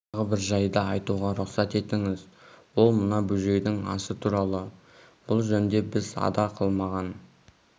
тағы бір жайды айтуға рұқсат етіңіз ол мына бөжейдің асы туралы бұл жөнде біз ада қылмаған